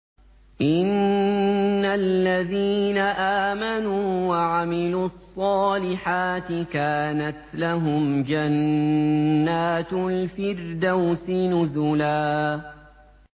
إِنَّ الَّذِينَ آمَنُوا وَعَمِلُوا الصَّالِحَاتِ كَانَتْ لَهُمْ جَنَّاتُ الْفِرْدَوْسِ نُزُلًا